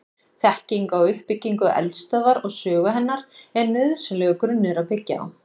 Þekking á uppbyggingu eldstöðvar og sögu hennar er nauðsynlegur grunnur að byggja á.